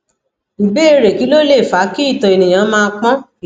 ìbéèrè kí ló lè fa ki ito eniyan ma pon